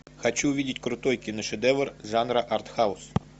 хочу увидеть крутой киношедевр жанра арт хаус